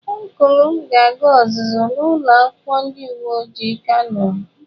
Ọncụl m ga-aga ọzụzụ na ulo akwukwo ndi uwe ojii kano.